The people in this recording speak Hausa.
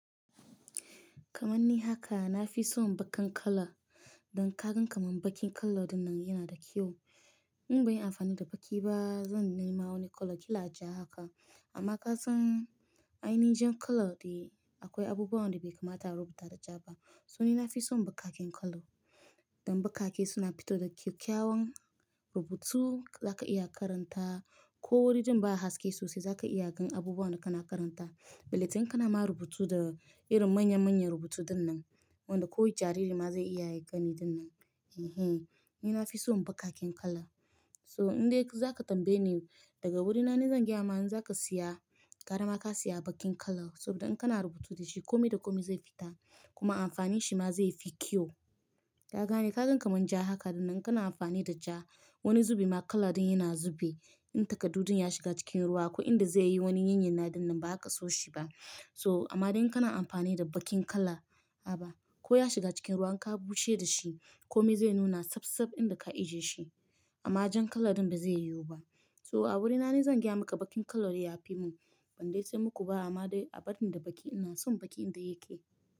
Kamanni haka na fi son bakin kala. Dan kagan kamar bakin kala dinnan yana da kyau. In ban yi amfani da baki ba, zan nema wani kala ƙila ja haka. Amma kasan ainihin jan kala dai akwai abubuwan da bai kamata a rubuta da ja ba. So ni na fi son bakaken kala. Dan bakake suna fito da kyakkyawan rubutu da za ka iya karanta, ko wurin din ba haske sosai za ka iya gan abubuwan da kana karanta. Billetin kana ma rubutu da irin manya-manyan rubutu dinnan, wanda kowane jariri ma zai iya gani dinnan. Ehen, ni na fi son bakaken kala. So in dai za ka tambaye ni daga wurina ne zan gaya ma in za ka siya, garama ka siya bakin kala. Saboda idan kana rubutu da shi kome da kome zai fita kuma amfanin shi ma zai fi kyau. Ka gane, ka gan kamar ja haka dinnan kana amfani da ja wani zube ma kala din yana zube. In takaddu din ya shiga cikin ruwa ko in da zai yi wani yin yana dinnan ba ka so shi ba. So amma idan kana amfani da bakin kala, aba ko ya shiga cikin ruwa in ka bushe da shi kome zai nuna sab sab inda ka ajiye shi. Amma jan kala din ba zai yiwu ba. So a wurina nivzan gaya maka bakin kala ya fi mun. Ban dai san muku ba amma dai a bari in da baki ina son baki in da yake.